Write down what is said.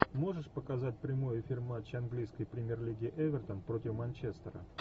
можешь показать прямой эфир матча английской премьер лиги эвертон против манчестера